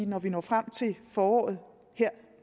når vi når frem til foråret her